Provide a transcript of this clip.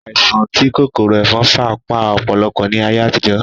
Àìsàn tí kòkòrò ẹ̀fọn fà pa ọ̀pọ̀lọpọ̀ ní ayé àtijó